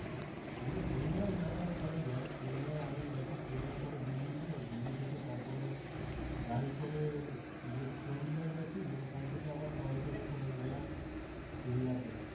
এমনি প্লেনেও যাতায়াত করা যায় প্লেনে আমি গেছি প্লেনে করে দিল্লিতে, দিল্লি থেকে তারপরে গাড়ি করে ইয়ে চন্ডিগড় গেছি ওখান থেকে আবার টয় ট্রেনে করে গেলাম সিমলাতে